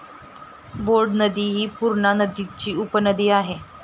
Board नदी हि पूर्णा नदीची उपनदी आहे.